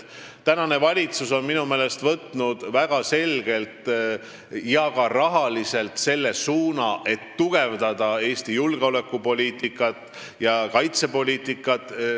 Praegune valitsus on minu meelest võtnud väga selgelt ja ka rahaliselt selle suuna, et lisaks välisteenistuse tugevdamisele tuleb tugevdada Eesti julgeolekupoliitikat ja kaitsepoliitikat.